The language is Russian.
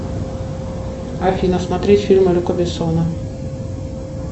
афина смотреть фильм люка бессона